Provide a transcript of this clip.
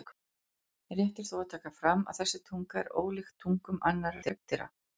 Rétt er þó að taka fram að þessi tunga er ólíkt tungum annarra hryggdýra.